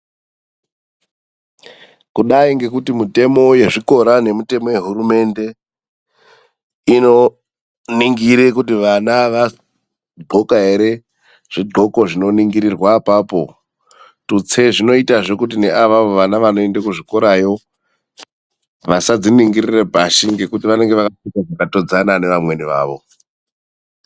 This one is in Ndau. Kudai ngekuti mitemo yezvikora, nemitemo yehurumende inoningire kuti vana vadxoka ere, zvidgoko zvinoningirirwe apapo. Tutse zvinoitazve kuti vana avavo ne anoenda kuzvikora yo vasazviningirire pashi, ngekuti vanenge vakapfeka zvakatodzana neamweni awo.